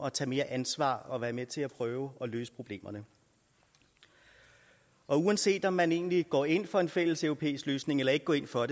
at tage mere ansvar og være med til at prøve at løse problemerne uanset om man egentlig går ind for en fælles europæisk løsning eller ikke går ind for